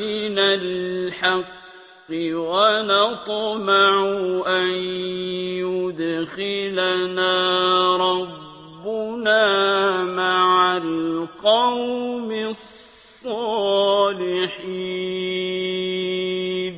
مِنَ الْحَقِّ وَنَطْمَعُ أَن يُدْخِلَنَا رَبُّنَا مَعَ الْقَوْمِ الصَّالِحِينَ